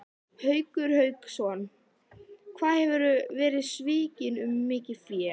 Haukur Hauksson: Hvað hefurðu verið svikinn um mikið fé?